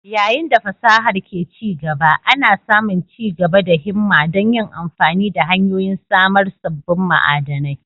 Yayin da fasahar ke ci gaba, ana samun ci gaba da himma don yin amfani da hanyoyin samar sabbin ma'adanai